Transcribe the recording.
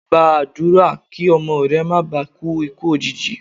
Gba àdúrà kí ọmọ rẹ má bà kú ikú òjìji.